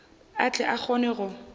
a tle a kgone go